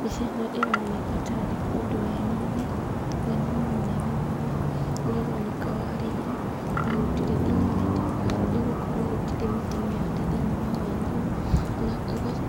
Mbica ĩno ĩroneka tarĩ kũndũ weni-inĩ, weni-inĩ mũnene mũno, nĩũroneka warĩirwo na gũtirĩ nginya mĩtĩ, nĩgũkorwo gũtirĩ mĩtĩ mĩhande thĩiniĩ wa weni ũyũ, na